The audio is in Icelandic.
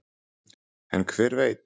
en hver veit